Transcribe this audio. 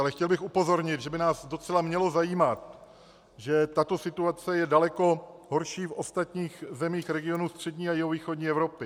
Ale chtěl bych upozornit, že by nás docela mělo zajímat, že tato situace je daleko horší v ostatních zemích regionu střední a jihovýchodní Evropy.